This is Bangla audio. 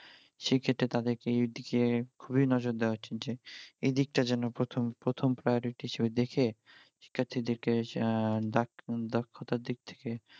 সে ক্ষেত্রে তাদের কে খুবি নজর দেওয়া উচিত যে এদিকটা যেন প্রথম প্রথম priority হিসেবে দেখে শিক্ষার্থী দের কে দক্ষতার দিক থেকে